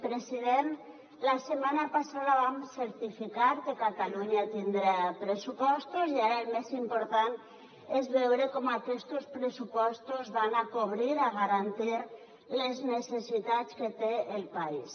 president la setmana passada vam certificar que catalunya tindrà pressupostos i ara el més important és veure com aquestos pressupostos cobriran garantiran les necessitats que té el país